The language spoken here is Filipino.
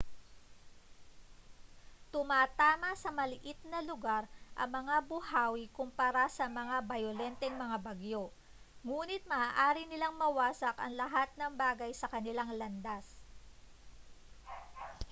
tumatama sa maliit na lugar ang mga buhawi kumpara sa mas bayolenteng mga bagyo nguni't maaari nilang mawasak ang lahat ng bagay sa kanilang landas